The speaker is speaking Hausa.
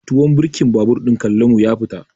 Tuwon birkin babur ɗin Kallamu ya fita.